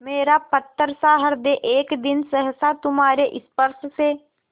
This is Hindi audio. मेरा पत्थरसा हृदय एक दिन सहसा तुम्हारे स्पर्श से